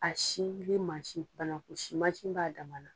A sinen mansin fana, o si mansin b'a damana.